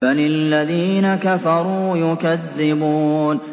بَلِ الَّذِينَ كَفَرُوا يُكَذِّبُونَ